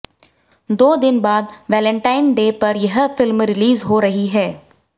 दो दिन बाद वैलेंटाइन डे पर यह फिल्म रिलीज हो रही है